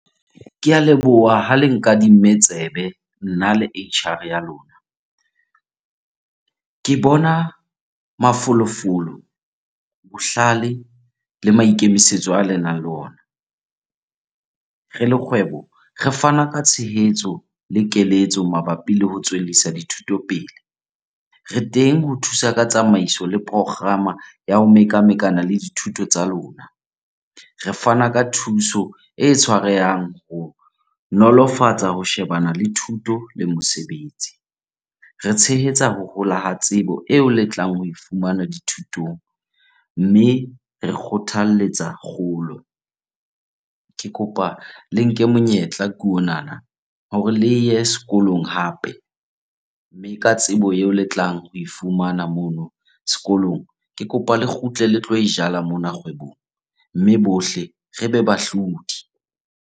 Ke a leboha ha le nkadime tsebe, nna le H_R ya lona. Ke bona mafolofolo, bohlale le maikemisetso a le nang le ona. Re le kgwebo, re fana ka tshehetso le keletso mabapi le ho tswellisa dithuto pele. Re teng ho thusa ka tsamaiso le ya ho mekamekana le dithuto tsa lona. Re fana ka thuso e tshwarehang ho nolofatsa, ho shebana le thuto le mosebetsi. Re tshehetsa ho hola ha tsebo eo le tlang ho e fumana dithutong mme re kgothaletsa kgolo. Ke kopa le nke monyetla ke onana, hore le ye sekolong hape. Mme ka tsebo eo le tlang ho e fumana mono sekolong, ke kopa le kgutle le tlo e jala mona kgwebong mme bohle rebe bahlodi.